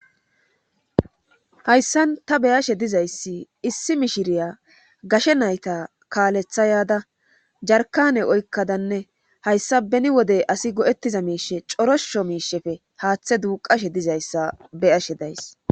Hayssan ta beyashe dizayssi issi mishiriya gashe nayta kaalethayada jarkane oykkadanne hayssa beni wodey asi go'ettiza miishe corosho miishefe haaththe duuqashe dizayssa beyashe days.